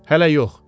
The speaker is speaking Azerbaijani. Hələ yox.